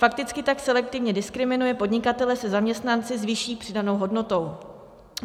Fakticky tak selektivně diskriminuje podnikatele se zaměstnanci s vyšší přidanou hodnotou.